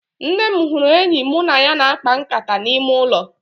Nna m hụrụ enyi mụ na ya na-akpa nkata n'ime ụlọ